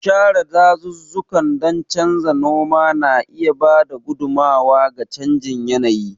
Share dazuzzukan don canza noma na iya ba da gudummawa ga canjin yanayi.